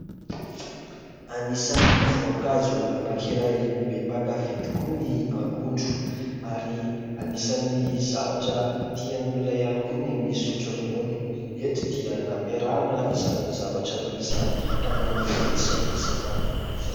Anisan'ny voankazo anankiray be mpakafia tokoa ny akondro ary anisan'ny zavatra tian'olona ihany koa ny misotro ronono eto dia nampiarahana izany zavatra roa izany ka nanome an'izao sakafo izany.